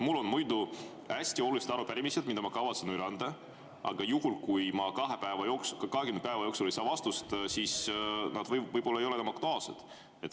Mul on hästi olulised arupärimised, mida ma kavatsen üle anda, aga juhul, kui ma 20 päeva jooksul ei saa vastust, siis nad võib-olla ei ole enam aktuaalsed.